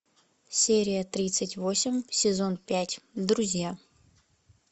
серия тридцать восемь сезон пять друзья